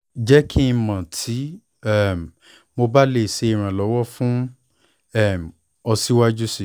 jẹ ki n mọ ti um mo ba le ṣe iranlọwọ fun um ọ siwaju sii